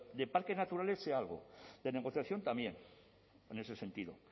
de parques naturales sé algo de negociación también en ese sentido